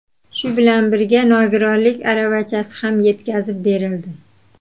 Shu bilan birga nogironlik aravachasi ham yetkazib berildi.